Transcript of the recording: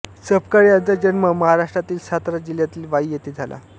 सपकाळ यांचा जन्म महाराष्ट्रातील सातारा जिल्ह्यात वाई येथे झाला